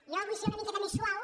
jo vull ser una miqueta més suau